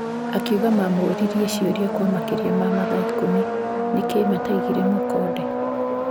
Akiuga mamũririe ciũria kwa makĩria ma mathaa ikũmi nĩkĩ mataigire mũkonde.